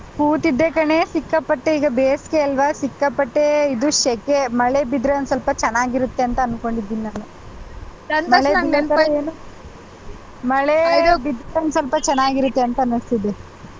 ಕೂತಿದ್ದೆ ಕಣೆ ಸಿಕ್ಕಪ್ಪಟೆ ಈಗ ಬೇಸ್ಗೆ ಅಲ್ವಾ ಸಿಕ್ಕಾಪಟ್ಟೆ ಇದು ಶಕೆ ಮಳೆ ಬಿದ್ರೆ ಒಂದ್ ಸ್ವಲ್ಪ ಚನ್ನಾಗಿರುತ್ತೆ ಅಂತ ಅನ್ಕೊಂಡಿದೀನಿ ನಾನು ಮಳೆ ಬಿದ್ರೆ ಒಂದ್ ಸ್ವಲ್ಪ ಚೆನ್ನಾಗಿರುತ್ತೆ ಅಂತ ಅನ್ನಿಸ್ತಿದೆ.